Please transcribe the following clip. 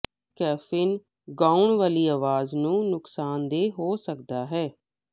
caffeine ਗਾਉਣ ਵਾਲੀ ਆਵਾਜ਼ ਨੂੰ ਨੁਕਸਾਨਦੇਹ ਹੋ ਸਕਦਾ ਹੈ